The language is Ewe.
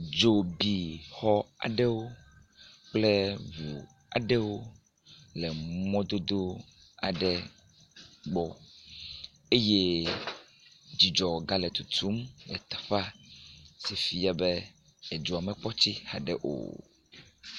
Dzo bi xɔ aɖewo kple ŋu aɖewo le mɔdodo aɖe gbɔ eye dzidzɔ ga le tutum le teƒea si fia be edzoa mekpɔ tsi haɖe o.